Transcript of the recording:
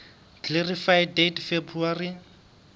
clarify date february